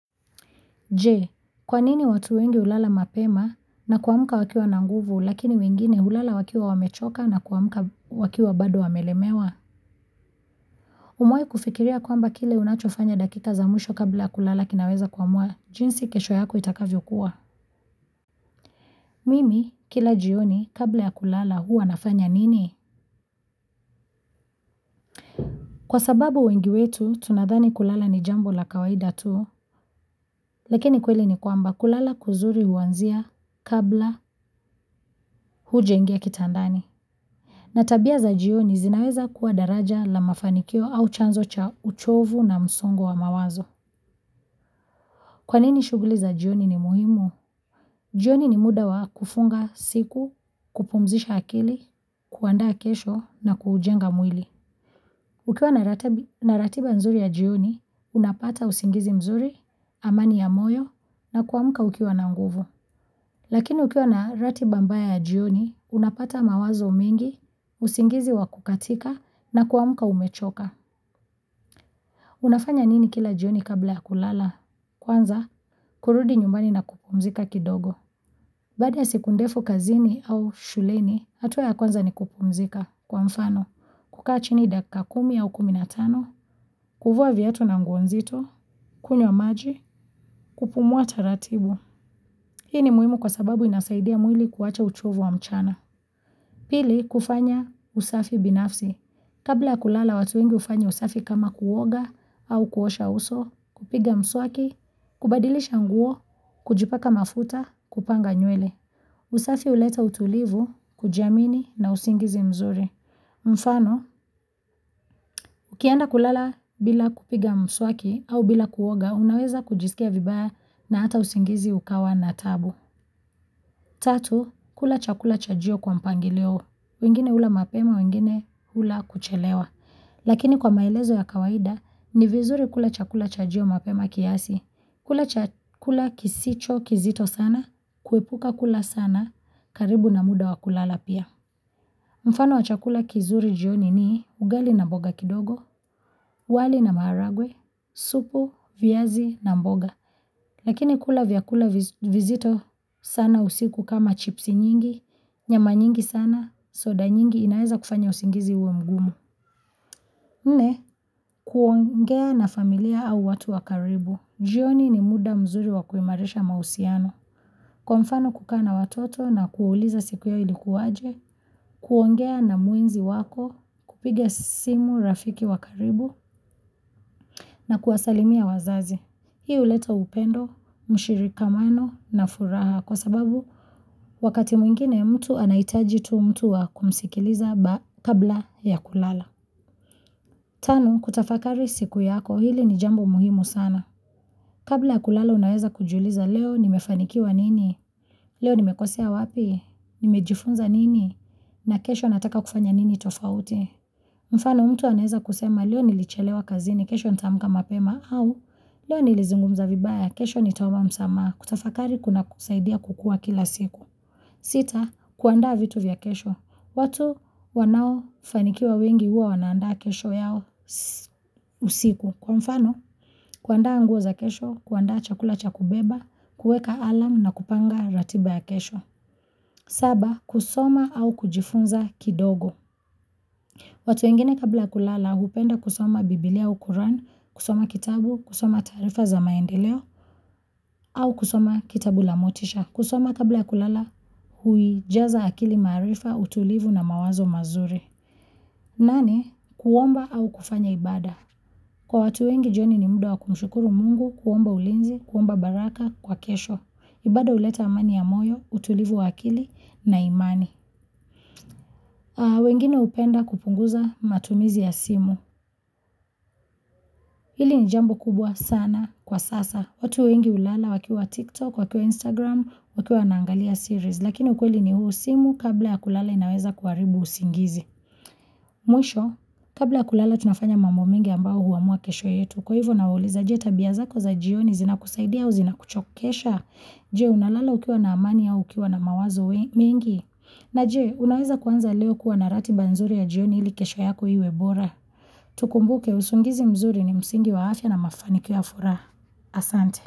Je, kwa nini watu wengi hulala mapema na kuamka wakiwa na nguvu lakini wengine hulala wakiwa wamechoka na kuamka wakiwa bado wamelemewa? Umewahi kufikiria kwamba kile unachofanya dakika za mwisho kabla ya kulala kinaweza kuamua jinsi kesho yako itakavyokuwa? Mimi, kila jioni, kabla ya kulala huwa nafanya nini? Kwa sababu wengi wetu, tunadhani kulala ni jambo la kawaida tu, lakini kweli ni kwamba kulala kuzuri huanzia kabla hujaingia kitandani. Na tabia za jioni zinaweza kuwa daraja la mafanikio au chanzo cha uchovu na msongo wa mawazo. Kwanini shuguli za jioni ni muhimu? Jioni ni muda wa kufunga siku, kupumzisha akili, kuandaa kesho na kujenga mwili. Ukiwa na ratiba nzuri ya jioni, unapata usingizi mzuri, amani ya moyo na kuamka ukiwa na nguvu. Lakini ukiwa na ratiba mbaya ya jioni, unapata mawazo mingi, usingizi wa kukatika na kuamka umechoka. Unafanya nini kila jioni kabla ya kulala? Kwanza, kurudi nyumbani na kupumzika kidogo. Baada ya siku ndefu kazini au shuleni, hatua ya kwanza ni kupumzika. Kwa mfano, kukaa chini dakika kumi au kumi na tano, kuvaa viatu na nguo nzito, kunywa maji, kupumua taratibu. Hii ni muhimu kwa sababu inasaidia mwili kuwacha uchovu wa mchana. Pili, kufanya usafi binafsi. Kabla ya kulala, watu wengi hufanya usafi kama kuoga au kuosha uso, kupiga mswaki, kubadilisha nguo, kujipaka mafuta, kupanga nywele. Usafi huleta utulivu, kujiamini na usingizi mzuri. Mfano, ukienda kulala bila kupiga mswaki au bila kuoga, unaweza kujisikia vibaya na hata usingizi ukawa na tabu. Tatu, kula chakula chajio kwa mpangilio, wengine hula mapema, wengine hula kuchelewa, lakini kwa maelezo ya kawaida, ni vizuri kula chakula chajio mapema kiasi, kula chakula kisicho kizito sana, kuepuka kula sana, karibu na muda wa kulala pia. Mfano wa chakula kizuri jioni ni ugali na mboga kidogo, wali na maharagwe, supu, vyazi na mboga. Lakini kula vyakula vizito sana usiku kama chipsi nyingi, nyama nyingi sana, soda nyingi inaweza kufanya usingizi uwe mgumu. Nne, kuongea na familia au watu wa karibu. Jioni ni muda mzuri wa kuimarisha mahusiano. Kwa mfano kukaa na watoto na kuwauliza siku yao ilikuwaje, kuongea na mwenzi wako, kupiga simu rafiki wa karibu na kuwasalimia wazazi. Hii huleta upendo, mshirikamano na furaha kwa sababu wakati mwingine mtu anahitaji tu mtu wa kumsikiliza kabla ya kulala. Tano, kutafakari siku yako hili ni jambo muhimu sana. Kabla ya kulala unaweza kujiuliza leo nimefanikiwa nini? Leo nimekosea wapi? Nimejifunza nini? Na kesho nataka kufanya nini tofauti? Mfano mtu anaeza kusema leo nilichelewa kazini, kesho nitaamka mapema au leo nilizungumza vibaya, kesho nitaomba msamaha, kutafakari kunakusaidia kukua kila siku. Sita, kuandaa vitu vya kesho. Watu wanaofanikiwa wengi huwa wanaandaa kesho yao usiku. Kwa mfano, kuandaa nguo za kesho, kuandaa chakula cha kubeba, kuweka alarm na kupanga ratiba ya kesho. Saba, kusoma au kujifunza kidogo. Watu wengine kabla ya kulala, hupenda kusoma biblia au Quran, kusoma kitabu, kusoma taarifa za maendeleo, au kusoma kitabu la motisha. Kusoma kabla ya kulala, huijaza akili maarifa, utulivu na mawazo mazuri. Nane, kuomba au kufanya ibada. Kwa watu wengi, jioni ni muda wa kumshukuru Mungu, kuomba ulinzi, kuomba baraka kwa kesho. Ibada huleta amani ya moyo, utulivu wa akili na imani. Wengine hupenda kupunguza matumizi ya simu. Hili ni jambo kubwa sana kwa sasa. Watu wengi hulala wakiwa TikTok, wakiwa Instagram, wakiwa wanaangalia series. Lakini ukweli ni huu, simu kabla ya kulala inaweza kuharibu usingizi. Mwisho, kabla ya kulala tunafanya mambo mingi ambao huamua kesho yetu. Kwa hivyo nawauliza je, tabia zako za jioni zinakusaidia au zinakuchokesha? Je, unalala ukiwa na amani au ukiwa na mawazo mengi? Na je, unaweza kuanza leo kuwa na ratiba nzuri ya jioni ili kesha yako iwe bora? Tukumbuke usingizi mzuri ni msingi wa afya na mafanikio ya furaha. Asante.